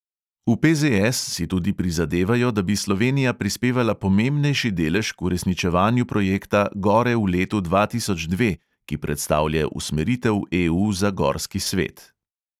V PZS si tudi prizadevajo, da bi slovenija prispevala pomembnejši delež k uresničevanju projekta gore v letu dva tisoč dve, ki predstavlja usmeritev EU za gorski svet.